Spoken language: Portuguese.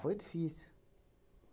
Foi difícil.